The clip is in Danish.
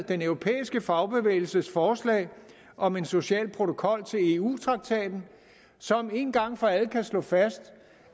den europæiske fagbevægelses forslag om en social protokol til eu traktaten som en gang for alle kan slå fast